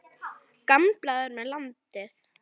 Gamblað er með landið.